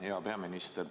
Hea peaminister!